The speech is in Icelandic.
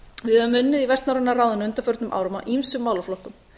við höfum unnið í vestnorræna ráðinu að ýmsum málaflokkum